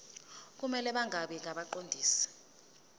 kumele bangabi ngabaqondisi